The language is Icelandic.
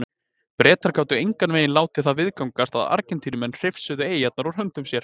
Bretar gátu engan veginn látið það viðgangast að Argentínumenn hrifsuðu eyjarnar úr höndum sér.